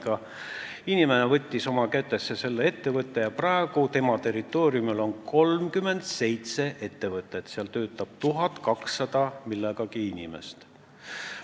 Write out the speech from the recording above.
Aga inimene võttis selle ettevõtte oma kätesse ja praegu on tema territooriumil 37 ettevõtet, kus töötab umbes 1200 inimest.